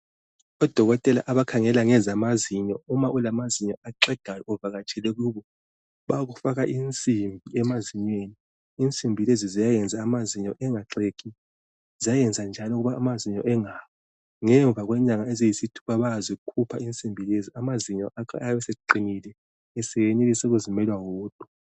Odokotela abakhangela ngezamazinyo, uma ulamazinyo axegayo, uvakatshele kubo, bayakufaka insimbi emazinyweni. Insimbi lezi ziyayenza amazinyo angaxegi. Ziyayenza njalo ukuba amazinyo akho engawi. Ngemva kwenyanga eziyisithupha, amazinyo lakho ayabe engasaxegi, njalo engasawi, esesenelisa ukuzimela wodwa.